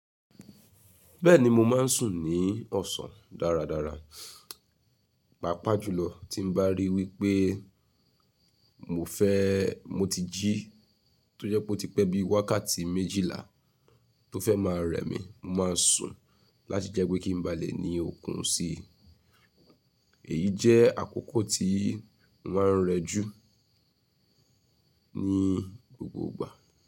Bẹ́ẹ̀ni mo ma ń sùn ní ọ̀sán dáradára. Pàápàá jùlọ tí mo bá rí wípé mo fẹ́, mo ti jí, tó jẹ́ pe ó ti pẹ́ bí i wákàtí méjìlá tó fẹ́ máa rẹ́ mi, mo máa sùn láti jẹ́ pé kí ń ba lè ni okùn si. Èyí jẹ́ àkókò tí mo á ń rẹ jú ní gbogbo ìgbà.